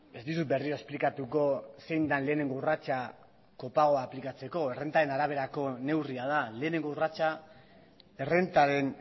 ez dizut berriro esplikatuko zein den lehenengo urratsa kopagoa aplikatzeko errentaren araberako neurria da lehenengo urratsa errentaren